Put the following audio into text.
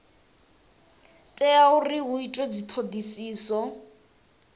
tea uri hu itwe dzithodisiso